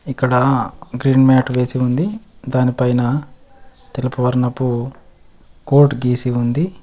ఇక్కడా green mat వేసి ఉంది. దాని పైన తెలుపు వర్ణపు కోట్ గీసి ఉంది.